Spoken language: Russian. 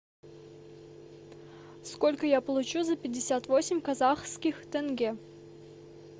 сколько я получу за пятьдесят восемь казахских тенге